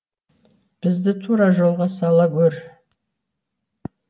бізді тура жолға сала гөр